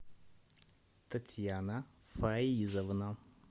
татьяна фаизовна